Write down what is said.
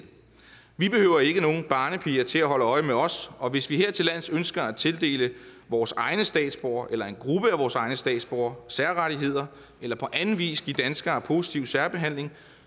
vi behøver ikke nogen barnepiger til at holde øje med os og hvis vi hertillands ønsker at tildele vores egne statsborgere eller en gruppe af vores egne statsborgere særrettigheder eller på anden vis give danskere positiv særbehandling